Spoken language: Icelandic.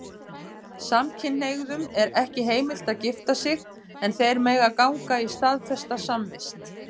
Samkynhneigðum er ekki heimilt að gifta sig, en þeir mega ganga í staðfesta samvist.